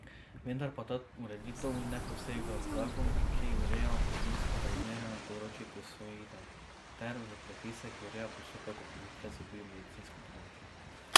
Vendar pa ta ureditev ne posega v zakon, ki ureja družinska razmerja na področju posvojitev, ter v predpise, ki urejajo postopek oploditve z biomedicinsko pomočjo.